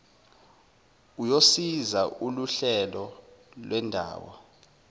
uyosiza loluhlelo lwendawo